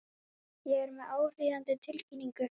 Ég er hér með áríðandi tilkynningu.